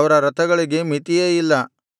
ಅವರ ರಥಗಳಿಗೆ ಮಿತಿಯೇ ಇಲ್ಲ